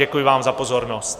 Děkuji vám za pozornost.